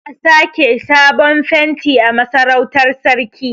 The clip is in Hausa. Za a sake sabon fenti a Masarautar sarki.